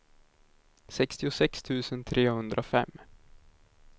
sextiosex tusen trehundrafem